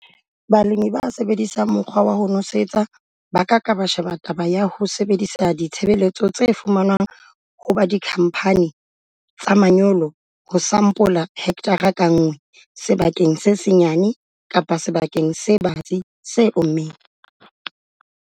Balemi ba sebedisang mokgwa wa ho nosetsa ba ka ka ba sheba taba ya ho sebedisa ditshebeletso tse fumanwang ho ba dikhamphane tsa manyolo ho sampola hekthara ka nngwe sebakeng se senyane kapa sebakeng se batsi se ommeng.